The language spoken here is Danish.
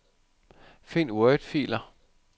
Find wordfiler.